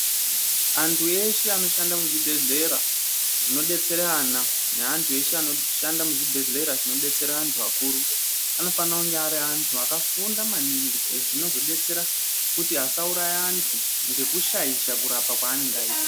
Andhu eshe anoshanda muzvi bhedhlera zvinodetsera ana, neandhu eshe anoshanda muzvi bhedhlera zvinodetsera andhu akuru, anofane kunge ari andhu akafunda maningi. Izvi zvinozodetsera kuti asauraya andhu, ngekushaisha kurapa kwaanonga aita.